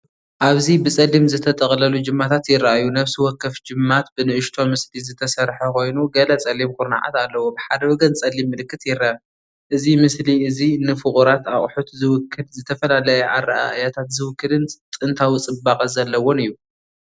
ኣብዚ ብጸሊም ዝተጠቕለሉ ጅማታት ይረኣዩ። ነፍሲ ወከፍ ጅማት ብንእሽቶ ምስሊ ዝተሰርሐ ኮይኑ ገለ ጸሊም ኩርናዓት ኣለዎ። ብሓደ ወገን ጸሊም ምልክት ይርአ። እዚ ምስሊ እዚ ንፍቑራት ኣቑሑት ዝውክል፡ ዝተፈላለየ ኣረኣእያታት ዝውክልን ጥንታዊ ጽባቐ ዘለዎን እዩ።